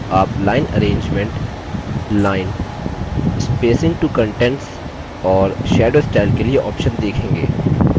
आप line arrangement line spacing to contents और shadow style के लिए options देखेंगे